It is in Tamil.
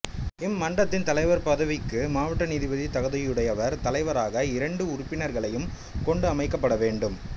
இம்மன்றத்தின் தலைவர் பதவிக்கு மாவட்ட நீதிபதி தகுதியுடையவர் தலைவராகவும் இரண்டு உறுப்பினர்களைக் கொண்டும் அமைக்கப்பட வேண்டும்